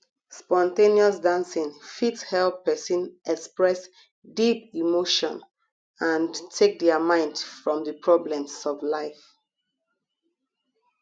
spon ten ous dancing fit help person express deep emotion and take their mind from di problems of life